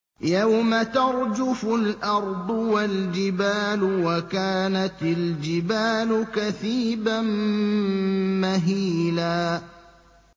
يَوْمَ تَرْجُفُ الْأَرْضُ وَالْجِبَالُ وَكَانَتِ الْجِبَالُ كَثِيبًا مَّهِيلًا